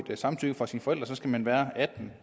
samtykke fra sine forældre så skal man være atten